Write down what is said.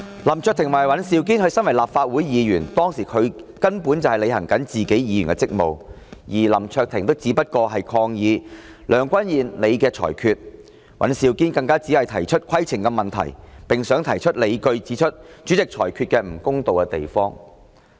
林卓廷議員及尹兆堅議員作為立法會議員，當時根本在履行議員的職務，而林議員只是抗議梁君彥主席的裁決，尹議員更只是提出規程問題，並想提出理據，指出主席裁決不公道之處。